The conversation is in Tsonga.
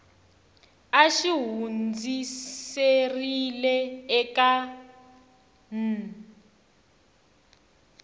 a xi hundziserile eka n